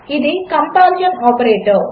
ఇదికంపారిసన్ఆపరేటర్